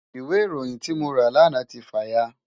Ìwé ìròyìn tí mo rà lánàá ti fà ya.